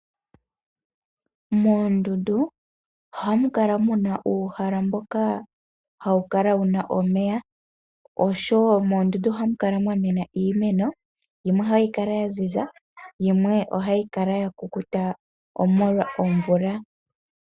Moondundu ohamu kala muna uuhala mboka hawu kala wuna omeya noshowo moondundu ohamu kala mwa mwena iimeno, yimwe ohayi kala ya ziza, yimwe ohayi kala ya kukuta omolwa omvula.